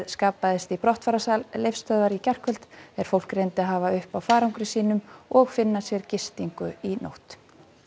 skapaðist í Leifsstöðvar í gærkvöld þegar fólk reyndi að hafa upp á farangri sínum og finna sér gistingu í nótt